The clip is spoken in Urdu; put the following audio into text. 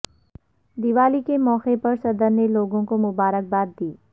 دیوالی کے موقع پر صدر نے لوگوں کو مبارکباددی